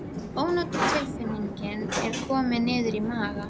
Ónotatilfinningin er komin niður í maga.